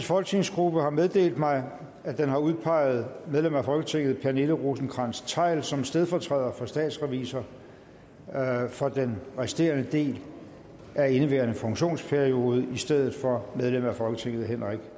folketingsgruppe har meddelt mig at den har udpeget medlem af folketinget pernille rosenkrantz theil som stedfortræder for statsrevisor for den resterende del af indeværende funktionsperiode i stedet for medlem af folketinget henrik